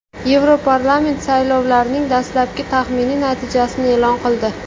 Yevroparlament saylovlarning dastlabki taxminiy natijasini e’lon qildi.